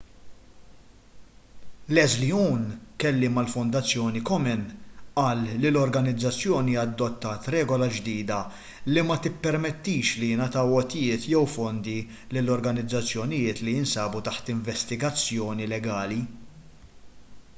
leslie aun kelliem għall-fondazzjoni komen qal li l-organizzazzjoni adottat regola ġdida li ma tippermettix li jingħataw għotjiet jew fondi lil organizzazzjonijiet li jinsabu taħt investigazzjoni legali